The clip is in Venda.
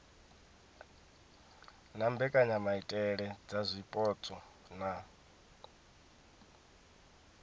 na mbekanyamaitele dza zwipotso na